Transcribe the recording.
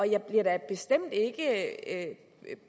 jeg bliver da bestemt ikke af at